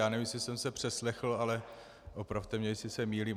Já nevím, jestli jsem se přeslechl, ale opravte mě, jestli se mýlím.